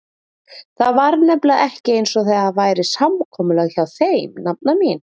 Það var nefnilega ekki einsog þetta væri samkomulag hjá þeim, nafna mín.